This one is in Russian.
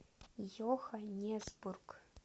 йоханнесбург